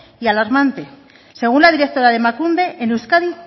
y alarmante según la directora de emakunde en euskadi